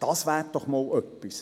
Das wäre doch einmal was.